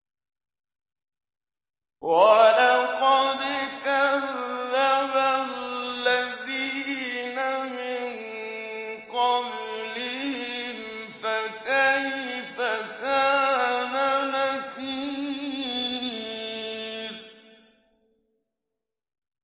وَلَقَدْ كَذَّبَ الَّذِينَ مِن قَبْلِهِمْ فَكَيْفَ كَانَ نَكِيرِ